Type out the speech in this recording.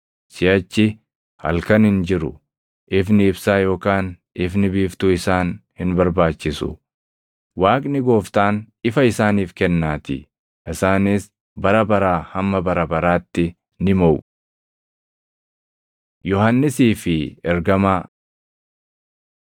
Siʼachi halkan hin jiru. Ifni ibsaa yookaan ifni biiftuu isaan hin barbaachisu; Waaqni Gooftaan ifa isaaniif kennaatii. Isaanis bara baraa hamma bara baraatti ni moʼu. Yohannisii fi Ergamaa